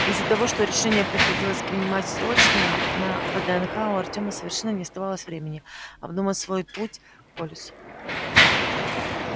из-за того что решение приходилось принимать срочно на вднх у артема совершенно не оставалось времени обдумать свой путь к полису